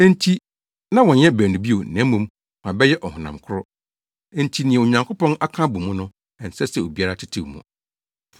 Enti na wɔnyɛ baanu bio, na mmom wɔabɛyɛ ɔhonam koro. Enti nea Onyankopɔn aka abɔ mu no, ɛnsɛ sɛ obiara tetew mu.”